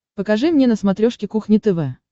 покажи мне на смотрешке кухня тв